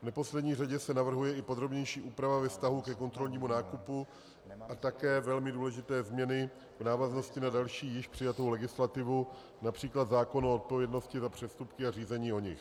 V neposlední řadě se navrhuje i podrobnější úprava ve vztahu ke kontrolnímu nákupu a také velmi důležité změny v návaznosti na další, již přijatou legislativu, například zákon o odpovědnosti za přestupky a řízení o nich.